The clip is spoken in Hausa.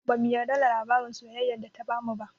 Bamu yarda da labarin soyayyan da ta bamu ba